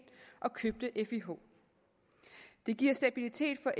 og købte fih det giver stabilitet for